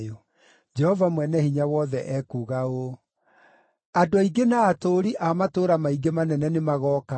Jehova Mwene-Hinya-Wothe ekuuga ũũ: “Andũ aingĩ na atũũri a matũũra maingĩ manene nĩ magooka,